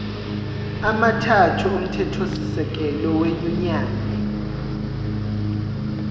amathathu omthethosisekelo wenyunyane